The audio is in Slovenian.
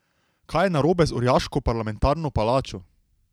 Kaj je narobe z orjaško parlamentarno palačo?